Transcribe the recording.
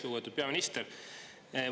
Lugupeetud peaminister!